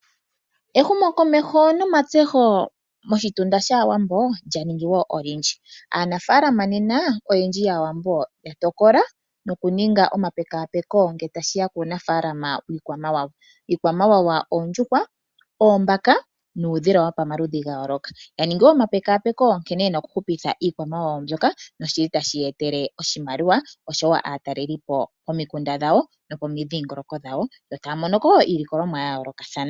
Ehumokomeho nomatseho moshitunda shAawambo lya ningi wo olindji. Aanafaalama nena oyendji yAawambo ya tokola nokuninga omapekapeko ngele tashi ya puunafaalama wiikwamawawa. Iikwamawawa oondjuhwa, oombaka nuudhila wopamaludhi ga yooloka. Ya ningi wo omapekapeko nkene ye na okuhupitha iikwamawawa mbyoka noshi li tashi ya etele oshimaliwa, osho wo aatalelipo pomikunda dhawo nokomidhiingoloko dhawo yo taya mono ko wo iilikolomwa yawo ya yoolokathana.